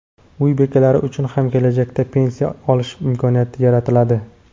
Uy bekalari uchun ham kelajakda pensiya olish imkoniyati yaratiladi.